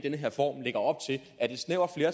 jeg